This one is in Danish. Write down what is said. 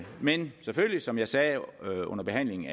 men selvfølgelig som jeg sagde under behandlingen